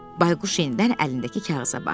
Bayquş yenidən əlindəki kağıza baxdı.